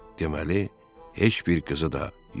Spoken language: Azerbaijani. Deməli, heç bir qızı da yoxdur.